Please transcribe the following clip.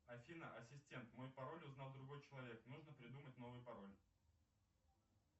афина ассистент мой пароль узнал другой человек нужно придумать новый пароль